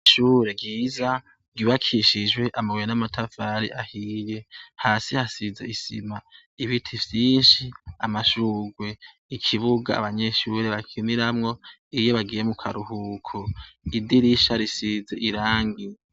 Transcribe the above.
Ishure ryiza ryubakishijwe amabuye n'amatafari ahiye. Hasi hasize isima, n'ibiti vyinshi. Amashugwe, ikibuga abanyeshure bakiniramwo iyo bagiye mu karuhuko. Idirisha risize irangi.